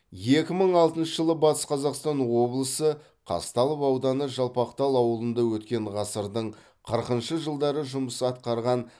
екі мың алтыншы жылы батыс қазақстан облысы қазталов ауданы жалпақтал ауылында өткен ғасырдың қырқыншы жылдары жұмыс атқарған